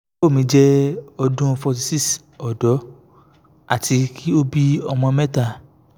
iyawo mi jẹ ọdun forty six ọdọ ati ki o bi ọmọ mẹta